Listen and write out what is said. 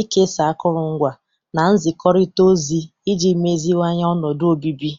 ikesa akụrụngwa, na nzikọrịta ozi iji meziwanye ọnọdụ obibi.